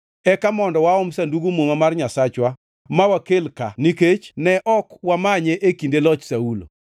Eka mondo waom Sandug Muma mar Nyasachwa ma wakel ka nikech ne ok wamanye e kinde loch Saulo.”